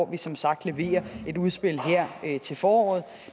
vi som sagt leverer et udspil her i foråret